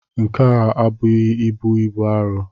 Nke m ebughị ibu bụ iro